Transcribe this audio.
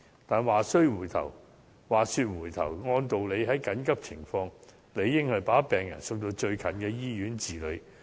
但是，話說回頭，在緊急情況下，理應把病人送到就近的醫院治理。